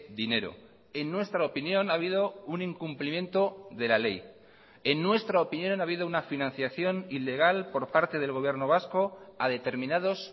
dinero en nuestra opinión ha habido un incumplimiento de la ley en nuestra opinión ha habido una financiación ilegal por parte del gobierno vasco a determinados